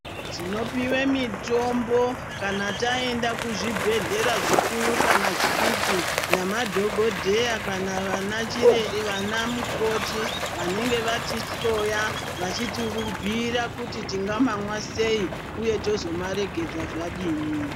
Tinopiwe mitombo kana taenda kuzvibhedhlera zvikuru kana zvidiki namadhogodheya kana vanachire vana mukoti vanenge vatihloya vachitibhuira kuti tingamamwa sei uye tozomaregedza zvadini.